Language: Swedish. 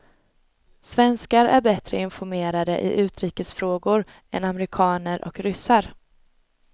Svenskar är bättre informerade i utrikesfrågor än amerikaner och ryssar.